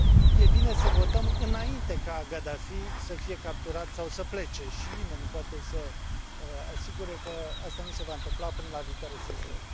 E bine să votăm înainte ca Gaddafi să fie capturat sau să plece și nimeni nu poate să garanteze că asta nu se va întâmpla până la viitoarea sesiune.